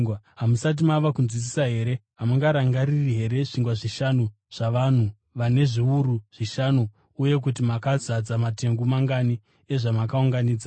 Hamusati mava kunzwisisa here? Hamurangariri here zvingwa zvishanu zvavanhu vane zviuru zvishanu uye kuti makazadza matengu mangani ezvamakaunganidza?